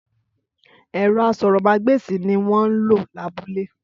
Ẹrọ aṣórómàgbesi ni wọn lọ labúlé.